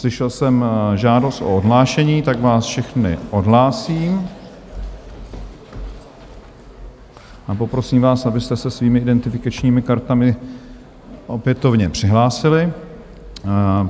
Slyšel jsem žádost o odhlášení, tak vás všechny odhlásím a poprosím vás, abyste se svými identifikačními kartami opětovně přihlásili.